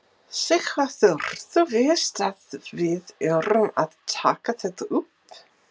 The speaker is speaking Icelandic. Sighvatur: Þú veist að við erum að taka þetta upp?